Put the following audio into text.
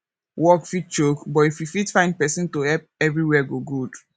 work fit choke but if you fit find person to help everywhere go good